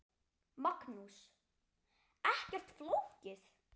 Magnús: Ekkert flókið?